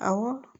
Awɔ